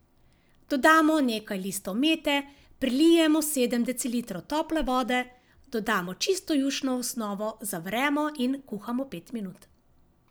Dodamo nekaj listov mete, prilijemo sedem decilitrov tople vode, dodamo čisto jušno osnovo, zavremo in kuhamo pet minut.